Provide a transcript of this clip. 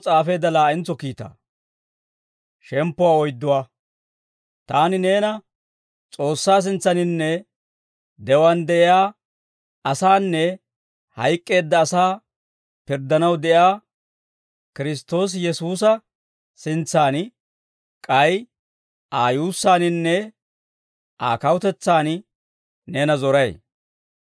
Taani neena S'oossaa sintsaaninne, de'uwaan de'iyaa asaanne hayk'k'eedda asaa pirddanaw de'iyaa Kiristtoosi Yesuusa sintsan, k'ay Aa yuussaaninne Aa kawutetsaan neena zoray.